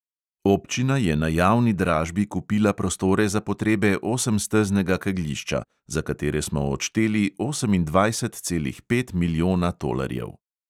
Občina je na javni dražbi kupila prostore za potrebe osemsteznega kegljišča, za katere smo odšteli osemindvajset celih pet milijona tolarjev.